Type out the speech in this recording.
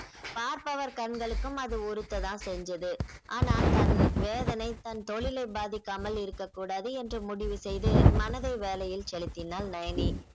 பார்ப்பவர் கண்களுக்கும் அது உருத்த தான் செஞ்சது ஆனா தன் வேதனை தன் தொழிலை பாதிக்காமல் இருக்கக் கூடாது என்று முடிவு செய்து மனதை வேளையில் செலுத்தினாள் நயனி